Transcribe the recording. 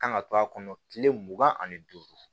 Kan ka to a kɔnɔ kile mugan ani duuru